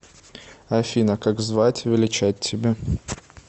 афина как звать величать тебя